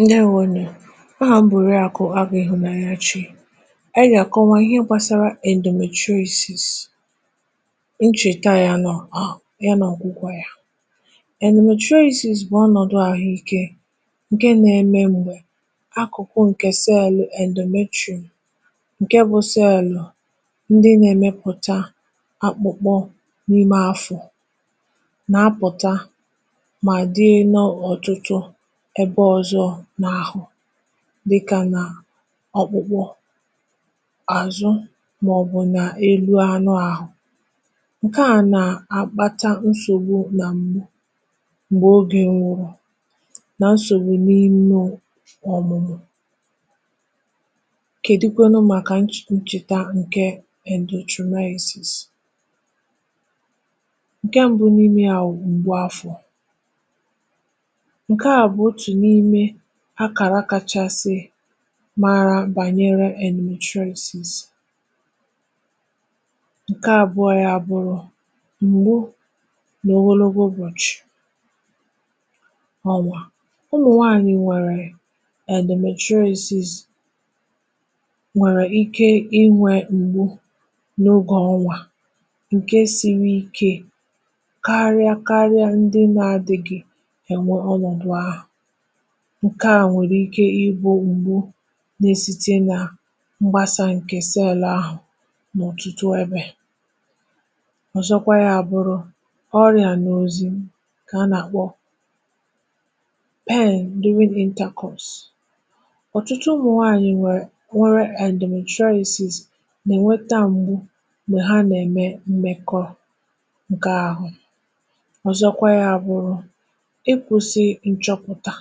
Ndewọnụ. Aham bụ orịakụ Agụ ihụanyachi. Anyi ga-akọwa ihe gbasara endọtrọmayasis ncheta ya nọ ya na ọgwụgwọ ya. Endọtrọmayasis bụ ọnọdụ ahụike nke na-eme mgbe akụkụ nke celụ endọmetrọ, nke bụ celụ ndị na-emepụta akpụkpọ n’ime afọ na apụta ma dị ọtụtụ ebe ọzọ n’ahụ̀ dịka na ọkpụkpụ, azụ maọbụ̀ na elụ anụ ahụ̀. Nke a na-akpata nsọ̀gbụ na mgbe ọge nwụrụ na nsọ̀gbụ n’imė ọ̀mụmụ̀. Kedikwanụ maka nch ncheta nke endọtrọmayasis nke mbụ n’ime yȧ wụ̀ ngbụ afọ̀. Nke a bụ ọtụ n’ime akara kachasị mara banyere endọtrọyisis. Nke abụọ ya abụrụ. Mgbụ na ọgọlọgọ ụbọchị ọnwa ụmụ̀ nwaanyị nwere endọtrọmayasis nwere ike inwė mgbụ n’ọge ọnwa nke siri ike karịa karịa ndị na adịgị enwe nke a nwere ike ịbụ̇ ngbụ n’esìte na mgbasa nke celụ ahụ n’ọ̀tụtụ ebe ọ̀zọkwa ya bụrụ ọrịa n’ọzi ka a na-akpọ ọ̀tụtụ ụmụ̀ nwaanyị̀ nwere nwere endọtrọmayasis na-enweta mgbụ̀ ma ha na-eme mmekọ̀ nke ahụ̀ ọzọkwa ya bụrụ ikwụsi nchọpụta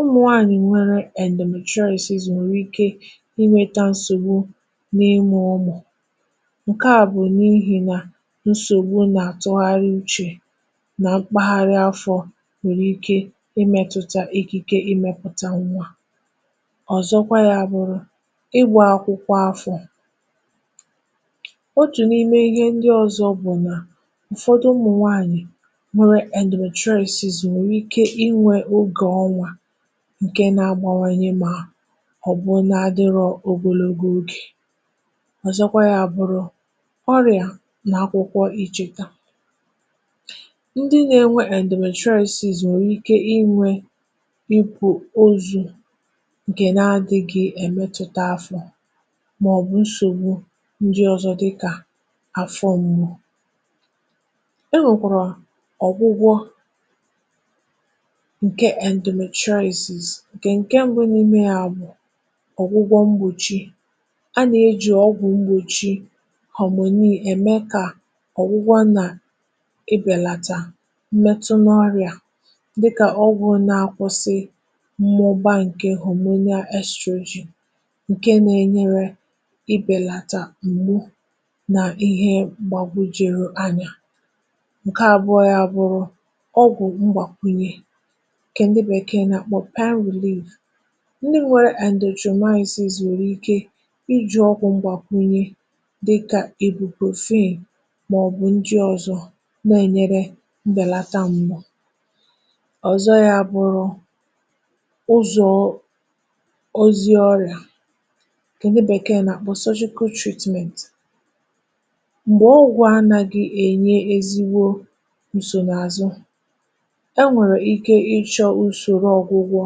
ụmụ̀nwaanyị̀ nwere endọtrọmayasis nwere ike inweta nsọ̀gbụ n’imu ụmụ̀ nke a bụ̀ n’ihìna nsọ̀gbụ na-atụgharị ụche na mkpagharị afọ̇ nwere ike imetụta ikike imepụta nwȧ, ọ̀zọkwa ya abụrụ, igba akwụkwọ afọ̇. Ọtụ̀ n’ime ihe ndi ọzọ bụ̀ na ụ̀fọdụ ụmụ̀nwaanyị̀ nwere endọtrọmayasis nwere ike inwe ọge onwa nke na-agbawanye ma ọ̀ bụ na adịrọ ọgọlọgọ ọge. Ọ̀zọkwa yȧ bụrụ ọrịa na akwụkwọ ichẹ̇ka. Ndị nȧ-enwe endọtrọmayasis nwere ike inwė ikwu̇ ọzụ nke na-adị gị emetụta afọ̇ ma ọ̀ bụ̀ nsọ̀gbụ ndị ọzọ dịkȧ afọ mgbụ̀. Enwekara ọ̀gwụgwọ nke endọtrọmayasis nke nke mbụ n’ime yȧ bụ̀ ọ̀gwụgwọ mgbọ̀chi, a na-ejụ ọgwụ̀ mgbọ̀chi hamọnì eme ka ọ̀gwụgwọ na ibelata mmetụ n’ọrị̀a dịka ọgwụ̀ na-akwụsị mmụba nke họmọnial estrọjịn nke na-enyere ibelata mgbụ na ihe gbagwụ jere anya. Nke abụọ yȧ bụrụ ọgwụ mgbakwụnye nke ndị bekee na akpọ ndị nwere endọtrọmayasis nwere ike iji ọgwụ̇ mgbakwụnyẹ dịkȧ ịbụprọfin maọbụ̀ ndị ọ̀zọ na-enyere mbelata ṁgbụ ọ̀zọ ya bụ̀rụ̀ ụzoọ̀ ọzi ọla nke ndị bekee na-akpọ mgbe ọgwụ anȧgị̇ enye ezigbọ nsọnaazụ, enwere ike ichọ ụsọrọ ọgwụgwọ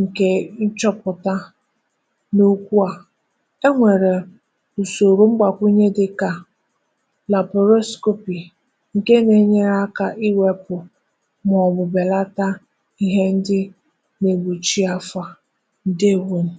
nke nchọpụ̀ta n’ọkwụ a. Enwere ụ̀sọ̀rọ̀ mgbakwụnye dịka lapọrọskọpị nke na-enyere akȧ iwepụ̀ maọbụ̀ belata ihe ndị na-egbọ̀chi afo a. Ndeewọ̀nụ̀.